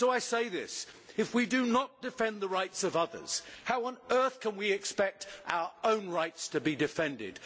So I say this if we do not defend the rights of others, how on earth can we expect our own rights to be defended?